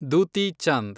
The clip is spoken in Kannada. ದೂತಿ ಚಂದ್